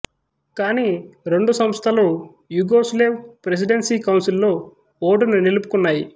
కానీ రెండు సంస్థలు యుగోస్లేవ్ ప్రెసిడెన్సీ కౌన్సిల్లో ఓటును నిలుపుకున్నాయి